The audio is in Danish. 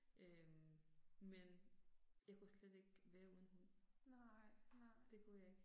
Øh. Men jeg kunne slet ikke være uden hund. Det kunne jeg ikke